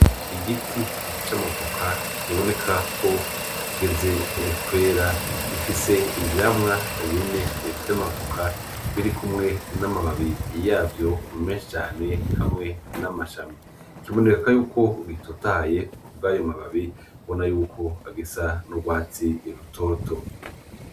Igiti c'amavoka kiboneka ko kigeze kwera gifise ivyamwa bine vy'amavoka birikumwe n'amababi yavyo menshi cane hamwe n'amashami .Kiboneka yuko gitotahaye kubw'ayo mababi ubonako gisa n'urwatsi rutoto.